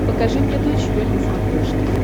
покажи мне дойч вель на смотрешке